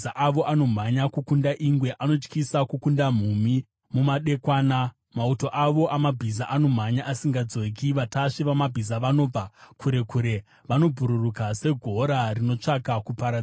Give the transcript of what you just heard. Mabhiza avo anomhanya kukunda ingwe, anotyisa kukunda mhumhi mumadekwana. Mauto avo amabhiza anomhanya asingadzoki; vatasvi vamabhiza vanobva kure kure. Vanobhururuka segora rinotsvaka kuparadza;